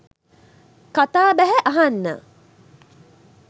කතා බැහැ අහන්න